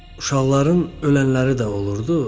Uşaqların ölənləri də olurdu.